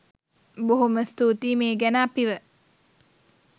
බොහොම ස්තූතියි මේ ගැන අපිව